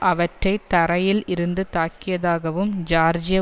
அவற்றை தரையில் இருந்து தாக்கியதாகவும் ஜியார்ஜிய